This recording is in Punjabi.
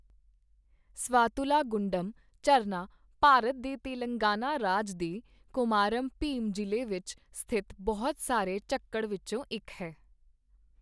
ਸਵਾਤੁਲਾ ਗੁੰਡਮ ਝਰਨਾ ਭਾਰਤ ਦੇ ਤੇਲੰਗਾਨਾ ਰਾਜ ਦੇ ਕੋਮਾਰਾਮ ਭੀਮ ਜ਼ਿਲ੍ਹੇ ਵਿੱਚ ਸਥਿਤ ਬਹੁਤ ਸਾਰੇ ਝੱਖੜ ਵਿੱਚੋਂ ਇੱਕ ਹੈ।